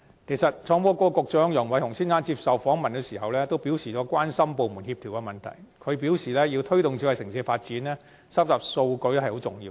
創新及科技局局長楊偉雄先生受訪時也表示，關心部門之間的協調問題。他強調，要推動智慧城市的發展，收集數據十分重要。